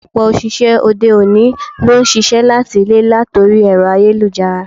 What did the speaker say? Ọ̀pọ̀ òṣìṣẹ́ òde-òní ló ń ṣiṣẹ́ láti ilé latori ẹ̀rọ ayélujára.